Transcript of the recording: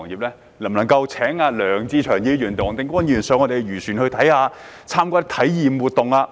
例如，可否邀請梁志祥議員和黃定光議員登上漁船，參加體驗活動？